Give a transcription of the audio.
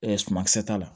sumankisɛ t'a la